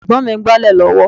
Ẹ̀gbọ́n mi ń gbálẹ̀ lọ́wọ́